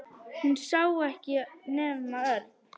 Hún sá ekkert nema Örn.